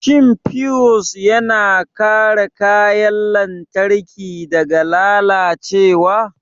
Shin fiyus yana kare kayan lantarki daga lalacewa?